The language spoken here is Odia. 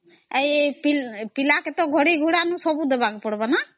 ପିଲାକେ ଘଡି ସବୁ ଦେବାକେ ପଡିବା ନ